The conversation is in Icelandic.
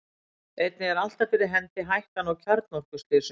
einnig er alltaf fyrir hendi hættan á kjarnorkuslysum